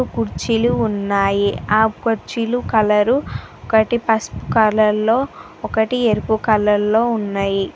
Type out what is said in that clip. కుర్చీలు ఉన్నాయి. ఆ కుర్చీలు కలరు ఒకటి పసుపు కలర్ లో ఒకటి ఎరుపు కలర్ లో ఉన్నాయి.